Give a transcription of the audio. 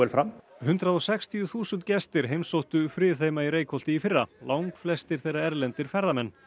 fram hundrað og sextíu þúsund gestir heimsóttu Friðheima í Reykholti í fyrra langflestir þeirra erlendir ferðamenn